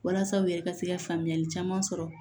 Walasa u yɛrɛ ka se ka faamuyali caman sɔrɔ